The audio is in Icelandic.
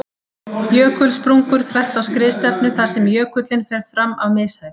Jökulsprungur þvert á skriðstefnu þar sem jökullinn fer fram af mishæð.